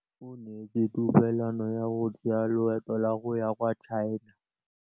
O neetswe tumalanô ya go tsaya loetô la go ya kwa China.